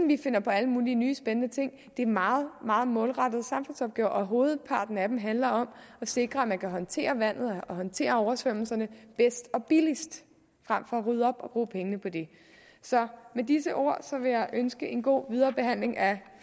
vi finder på alle mulige nye spændende ting det er en meget meget målrettet samfundsopgave og hovedparten af den handler om at sikre at man kan håndtere vandet og håndtere oversvømmelserne bedst og billigst frem for at rydde op og bruge pengene på det så med disse ord vil jeg ønske en god viderebehandling af